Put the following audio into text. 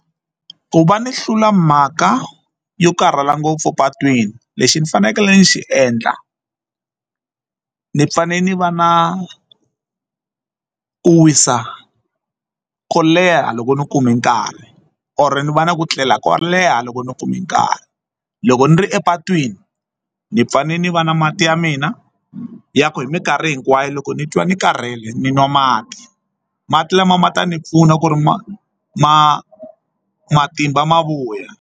Ku va ni hlula mhaka yo karhala ngopfu patwini lexi ni fanekele ni xi endla ni fane ni va na ku wisa kou leha loko ni kume nkarhi or ni va ni ku tlela ko leha loko ni kume nkarhi loko ni ri epatwini ni fane ni va na mati ya mina ya ku hi minkarhi hinkwayo loko ni twa ni karhele ni nwa mati mati lama ma ta ni pfuna ku ri ma ma matimba ma vuya.